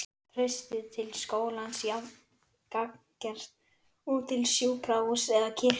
Traustið til skólans jafn gagngert og til sjúkrahúss eða kirkju.